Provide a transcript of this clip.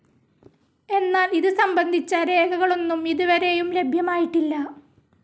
എന്നാൽ ഇത് സംബന്ധിച്ച രേഖകളൊന്നും ഇത് വരേയും ലഭ്യമായിട്ടില്ല.